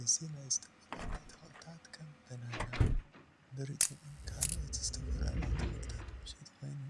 እዚ ናይ ዝተፈላለዩ ተክልታት ከም በናናን ብርጭቅን ካልኦትን ዝተፈላለዩ ተክልታት መሸጢ ኮይኑ